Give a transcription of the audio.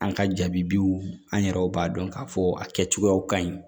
An ka jaabiw an yɛrɛw b'a dɔn k'a fɔ a kɛcogoyaw ka ɲi